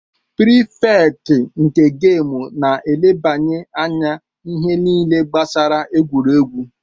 Prifekt nke gamu na-elebanye anya ihe niile gbasara egwuregwu